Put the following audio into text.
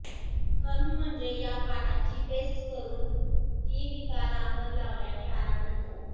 र्खम म्हणजे या पानांची पेस्ट करून ती विकारावर लावल्याने आराम मिळतो